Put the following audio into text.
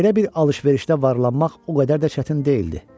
Belə bir alış-verişdə varlanmaq o qədər də çətin deyildi.